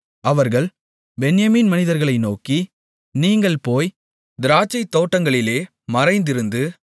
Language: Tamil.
அவர்கள் பென்யமீன் மனிதர்களை நோக்கி நீங்கள் போய் திராட்சைத் தோட்டங்களிலே மறைந்திருந்து